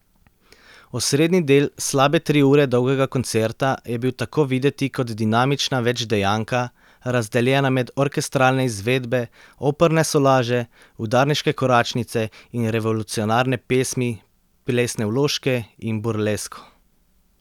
Osrednji del slabe tri ure dolgega koncerta je bil tako videti kot dinamična večdejanka, razdeljena med orkestralne izvedbe, operne solaže, udarniške koračnice in revolucionarne pesmi, plesne vložke in burlesko.